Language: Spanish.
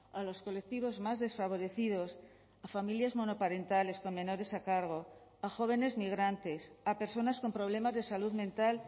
a los colectivos más desfavorecidos a familias monoparentales con menores a cargo a jóvenes migrantes a personas con problemas de salud mental